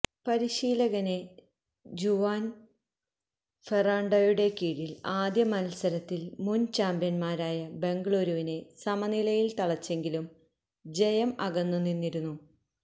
പരിശീലകന് ജുവാന് ഫെറാണ്ടോയുടെ കീഴില് ആദ്യ മത്സരത്തില് മുന് ചാമ്പ്യന്മാരായ ബംഗലൂരുവിനെ സമനിലയില് തളച്ചെങ്കിലും ജയം അകന്ന് നിന്നിരുന്നു